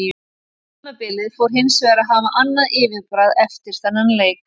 Tímabilið fór hinsvegar að hafa annað yfirbragð eftir þennan leik.